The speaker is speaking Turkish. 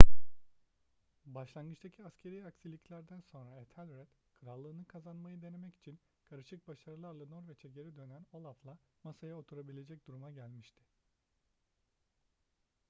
başlangıçtaki askeri aksiliklerden sonra ethelred krallığını kazanmayı denemek için karışık başarılarla norveç'e geri dönen olaf'la masaya oturabilecek duruma gelmişti